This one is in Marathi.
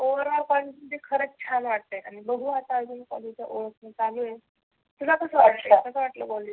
overall ते खरच छान वाटतं बघु आता आजुन ओळखन चालू आहे. तुला कसं वाटल तुला कसं वाटल कॉलेज